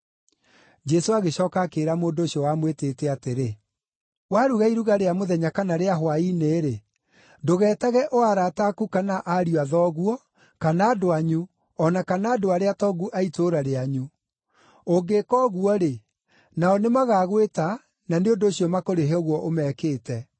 Jesũ agĩcooka akĩĩra mũndũ ũcio wamwĩtĩte atĩrĩ, “Waruga iruga rĩa mũthenya kana rĩa hwaĩ-inĩ-rĩ, ndũgetage o arata aku kana ariũ a thoguo, kana andũ anyu, o na kana andũ arĩa atongu a itũũra rĩanyu; ũngĩka ũguo-rĩ, nao nĩmagagwĩta na nĩ ũndũ ũcio makũrĩhe ũguo ũmekĩte.